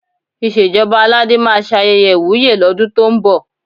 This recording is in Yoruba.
Ìṣèjọba Aládé máa ṣe ayẹyẹ ìwúyè lọ́dún tó ń bọ̀.